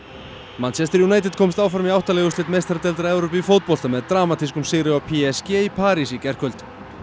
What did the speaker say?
manchester United komst áfram í átta liða úrslit meistaradeildar Evrópu í fótbolta með dramatískum sigri á p s g í París í gærkvöld